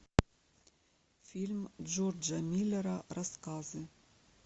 фильм джорджа миллера рассказы